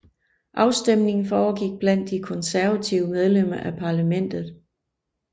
Afstemningen foregik blandt de konservative medlemmer af parlamentet